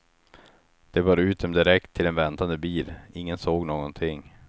De bar ut dem direkt till en väntande bil, ingen såg någonting.